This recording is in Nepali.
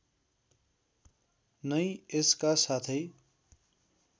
नै यसका साथै